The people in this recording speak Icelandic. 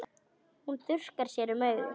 Hún þurrkar sér um augun.